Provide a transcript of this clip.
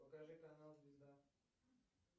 покажи канал звезда